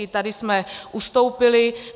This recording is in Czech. I tady jsme ustoupili.